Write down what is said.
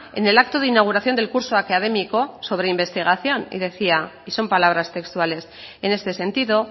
en el acto de inauguración del curso académico sobre investigación y decía y son palabras textuales en este sentido